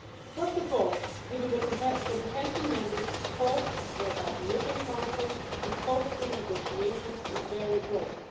First of all, given the comprehensive mandate called for by the European Council, the scope of the negotiations is very broad.